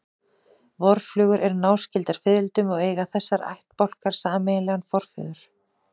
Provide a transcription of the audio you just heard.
Vorflugur eru náskyldar fiðrildum og eiga þessir ættbálkar sameiginlegan forföður.